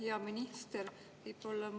Hea minister!